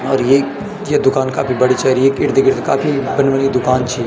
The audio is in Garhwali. और येक या दुकान काफी बड़ी च अर येक इर्द गिर्द काफी बन बणी दुकान छी।